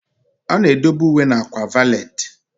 A na-edobe uwe na akwa valeti.